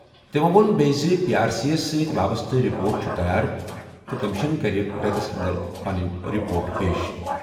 تِمَو ووٚن بیٚیہِ زِ پی آر سی یَس سٕتۍ وابستہٕ رپورٹ چھِ تیار تہٕ کمیشن کَرِ رٮ۪تَس انٛدر پنٕنۍ رپورٹ پیش۔